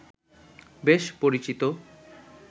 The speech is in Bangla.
বেশ পরিচিত